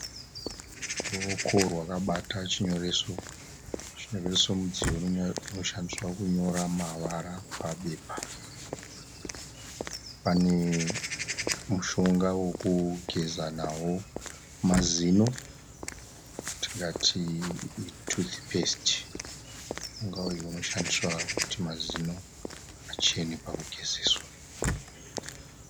Ruoko rwakabata chinyoreso. Chinyoreso mudziyo unoshandiswa kunyora mavara pabepa. Pane mushonga wokugeza nawo mazino watingati i'toothpaste'. Mushonga uyu unoshandiswa kuti mazino achene pakugezeswa.